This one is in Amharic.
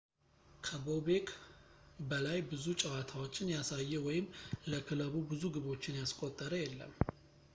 ከቦቤክ በላይ ብዙ ጨዋታዎችን ያሳየ ወይም ለክለቡ ብዙ ግቦችን ያስቆጠረ የለም